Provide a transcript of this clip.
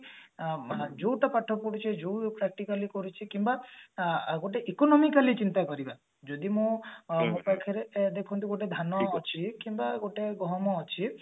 ଅ ଯୋଉଟା ପାଠ ପଢୁଛେ ଯୋଉଟା practically କରୁଛେ କିମ୍ବା ଅ ଗୋଟେ economically ଚିନ୍ତା କରିବା ଯଦି ମୁଁ ଆମ ପାଖରେ ଗୋଟେ ଧାନ ଅଛି କିମ୍ବା ଗୋଟେ ଗହମ ଅଛି